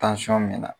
me na